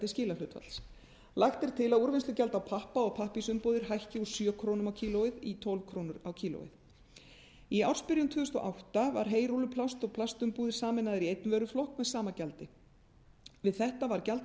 skilahlutfalls lagt er til að úrvinnslugjald á pappa og pappírsumbúðir hækki úr sjö krónur kílógrömm í ársbyrjun tvö þúsund og átta var heyrúlluplast og plastumbúðir sameinaðar í einn vöruflokk með sama gjaldi við þetta var gjald á